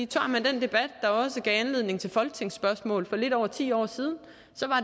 tager man den debat der også gav anledning til spørgsmål i folketinget for lidt over ti år siden